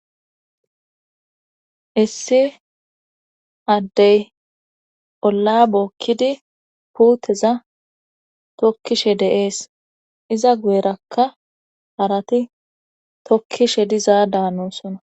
Issi addey olla bookkidi puuteza tokkishe deees iza guyerakka harati tokkishe dizaa daanonsona.